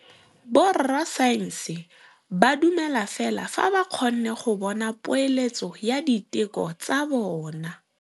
Borra saense ba dumela fela fa ba kgonne go bona poeletsô ya diteko tsa bone.